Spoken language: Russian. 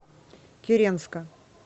киренска